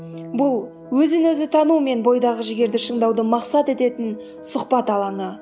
бұл өзін өзі тану мен бойдағы жігерді шыңдауды мақсат ететін сұхбат алаңы